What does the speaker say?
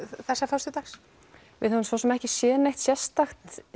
þessa föstudags við höfum svo sem ekki séð neitt sérstakt